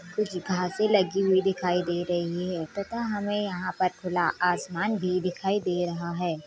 कुछ घासे लगी हुई दिखाई दे रही हैतथा हमे यहाँ पर खुला आसमान भी दिखाई दे रहा है।